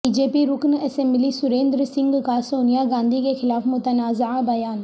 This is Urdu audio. بی جے پی رکن اسمبلی سریندر سنگھ کا سونیا گاندھی کے خلاف متنازعہ بیان